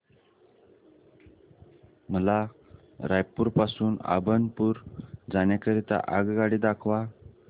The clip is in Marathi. मला रायपुर पासून अभनपुर जाण्या करीता आगगाडी दाखवा